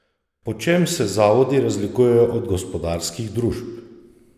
Po čem se zavodi razlikujejo od gospodarskih družb?